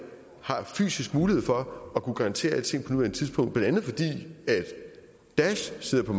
har fysisk mulighed for at kunne garantere alting på nuværende tidspunkt blandt andet fordi daesh sidder på